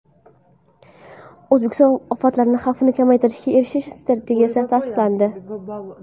O‘zbekistonda ofatlar xavfini kamaytirishga erishish strategiyasi tasdiqlandi.